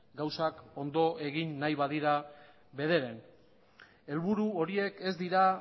gauzak ondo egin nahi badira bederen helburu horiek ez dira